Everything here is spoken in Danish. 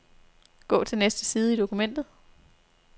Gå til næste side i dokumentet.